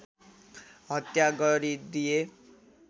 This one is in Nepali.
हत्या गरिदिए